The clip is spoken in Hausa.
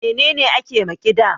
Me ne ne ake ma ƙida?